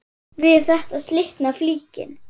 Við þetta slitnar flíkin.